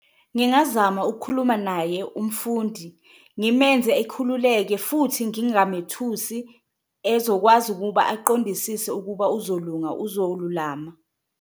Ngingazama ukukhuluma naye umfundi ngimenze ekhululeke futhi ngingamethusi, ezokwazi ukuba aqondisise ukuba uzolunga uzolulama.